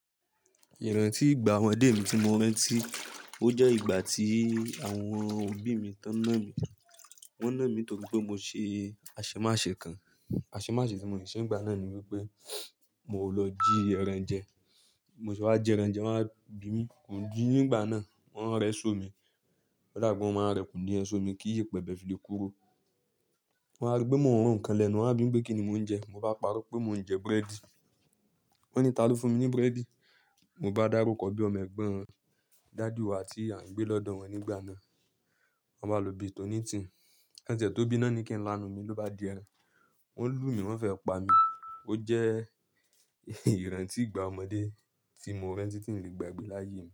Ìrántí ìgbà ọmọdé mi ti mo rántí, ó jẹ́ ìgbà tí àwọn òbí mi tán ná mi. Wọ́n ná mí nítorí pé mo ṣe aṣemàṣe kan. Aṣemàṣe tí mo ṣe nígbà náà ni wípé mo lọ jí ẹran jẹ. Mo ṣe bá ji ẹran jẹ, wọ́n wá bì mí. Kò jí nígbà náà, wọ́n rẹ́so mi. Oda bi pe wọ́n máa rẹ̀kùn ní yen somi kí ìyẹ̀pẹ̀ bẹ̀ fìle kúrò. Wọ́n á rí pé mo run kan lẹ́nu, wọ́n á bì mi pé kíni mò ń jẹ. Mo bá parọ́ pé mò ń jẹ búrẹ́dì. Wọ́n ní ta ló fún mi ní búrẹ́dì? Mo bá dárúkọ bí ọmọ ẹ̀gbọ́n daddy wá ti à ń gbé lọ́dọ̀ wọn nígbà náà. Wọn bá lò bí i tòn ní tì. Kan tie tó bí ná ní ki ńlánu mi ló bá di ẹran. Wọ́n lù mí, wọ́n fẹ́ pa mí. Ó jẹ́ ìrántí ìgbà ọmọdé tí mo rántí tí mi o lè gbagbẹ́ láyé mi.